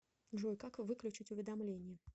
джой как выключить уведомление